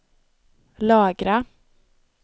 lagra